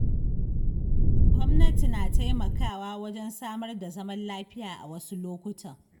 Gwamnati na taimakawa wajen samar da zaman lafiya a wasu lokutan.